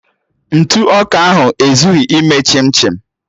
Ntụ ọka ahụ ezughị ime chim chim